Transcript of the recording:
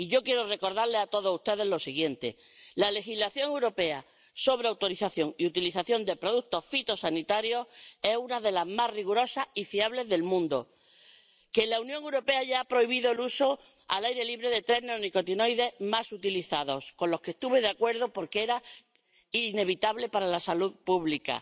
Y yo quiero recordarles a todos ustedes lo siguiente la legislación europea sobre autorización y utilización de productos fitosanitarios es una de las más rigurosas y fiables del mundo y la Unión Europea ha prohibido el uso al aire libre de los tres neonicotinoides más utilizados ―con lo que estuve de acuerdo porque era inevitable para la salud pública―.